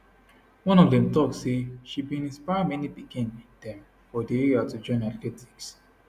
one of dem tok say she bin inspire many pikin dem for di area to join athletics